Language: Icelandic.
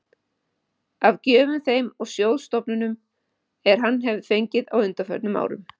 af gjöfum þeim og sjóðstofnunum, er hann hefir fengið á undanförnum árum.